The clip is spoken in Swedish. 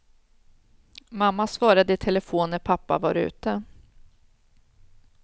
Mamma svarade i telefon när pappa var ute.